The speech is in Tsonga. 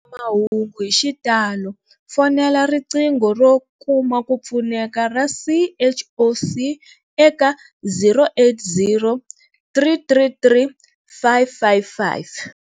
Mahungu hi xitalo, fonela riqingho ro kuma ku pfuneka ra CHOC eka 0800 333 555.